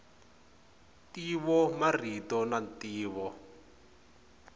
ntivo marito na ntivo